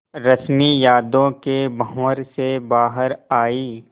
रश्मि यादों के भंवर से बाहर आई